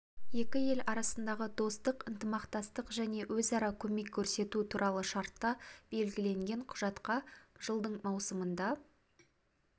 екі ел арасындағы достық ынтымақтастық және өзара көмек көрсету туралы шартта белгіленген құжатқа жылдың маусымында